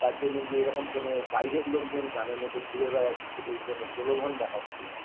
তার জন্য যে এরকম কোনো বাইরের লোকজন গ্রামের মধ্যে ঘুরে বেড়াচ্ছে এই ধরনের প্রলোভন দেখাচ্ছে